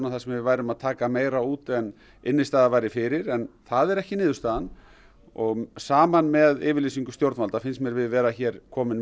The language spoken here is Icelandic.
þar sem við værum að taka meira út en innistæða væri fyrir en það er ekki niðurstaðan og saman með yfirlýsingu stjórnvalda finnst mér við vera hér komin